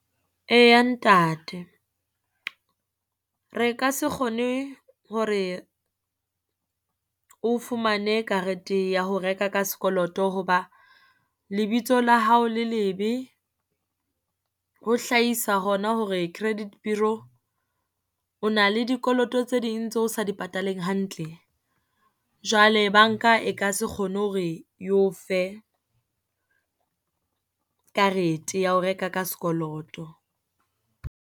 Eya ntate, re ka se kgone hore o fumane karete ya ho reka ka sekoloto, hoba lebitso la hao le lebe ho hlahisa hona hore credit bureau o na le dikoloto tse ding tseo sa di pataleng hantle. Jwale banka e ka se kgone hore eo fe karete ya ho reka ka sekoloto.